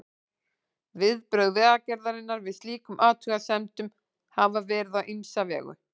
Viðbrögð Vegagerðarinnar við slíkum athugasemdum hafa verið á ýmsa vegu.